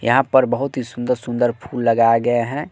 यहां पर बहुत ही सुंदर सुंदर फूल लगाए गए हैं।